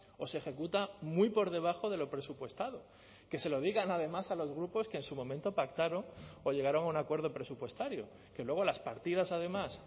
o se ejecuta muy por debajo de lo presupuestado que se lo digan además a los grupos que en su momento pactaron o llegaron a un acuerdo presupuestario que luego las partidas además